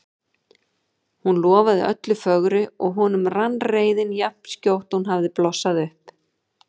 Hún lofaði öllu fögru og honum rann reiðin jafn skjótt og hún hafði blossað upp.